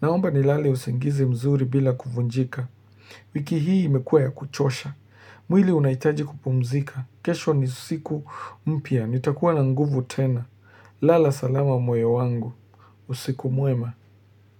naomba nilale usingizi mzuri bila kuvunjika. Wiki hii imekuwa ya kuchosha, mwili unaitaji kupumzika, kesho ni siku mpya, nitakuwa na nguvu tena. Lala salama moyo wangu, usiku mwema.